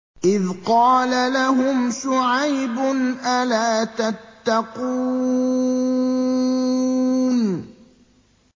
إِذْ قَالَ لَهُمْ شُعَيْبٌ أَلَا تَتَّقُونَ